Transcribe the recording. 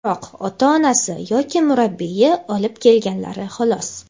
biroq ota-onasi yoki murabbiyi olib kelganlari, xolos.